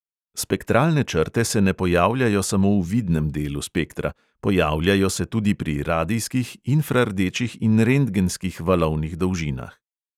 Spektralne črte se ne pojavljajo samo v vidnem delu spektra, pojavljajo se tudi pri radijskih, infrardečih in rentgenskih valovnih dolžinah.